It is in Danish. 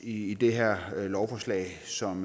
i det her lovforslag som